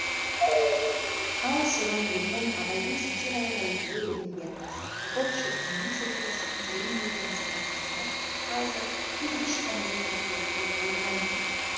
ал сонан келген абайдың сатиралық әйгілеу өлендерінің салтыков щедриннің сатирасымен терең байланысып жатқанына қазір ешқандай күдік келтіруге болмайды